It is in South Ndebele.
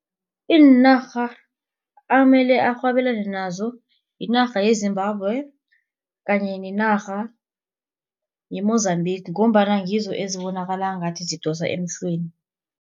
Iinarha amele arhwebelane nazo yinarha yeZimbabwe kanye nenarha yeMozambique ngombana ngizo ezibonakala ngathi zidosa emhlweni.